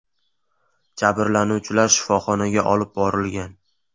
Jabrlanuvchilar shifoxonaga olib borilgan.